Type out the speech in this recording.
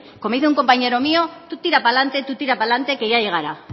como dice un compañero mío tú tira pa lante tira pa lante que ya llegará